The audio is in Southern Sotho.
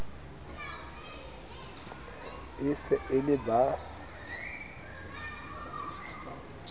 e se e le ba